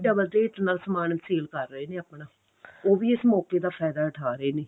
double rate ਨਾਲ ਸਮਾਨ sale ਕਰ ਰਹੇ ਨੇ ਆਪਣਾ ਉਹ ਵੀ ਇਸ ਮੋਕੇ ਦਾ ਫਾਇਦਾ ਉਠਾ ਰਹੇ ਨੇ